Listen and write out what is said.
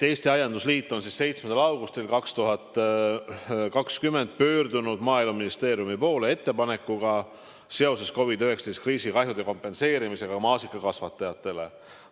Eesti Aiandusliit on 7. augustil 2020 pöördunud Maaeluministeeriumi poole ettepanekuga seoses COVID-19 põhjustatud kriisi kahjude kompenseerimisega maasikakasvatajatele.